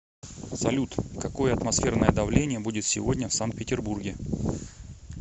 салют какое атмосферное давление будет сегодня в санкт петербурге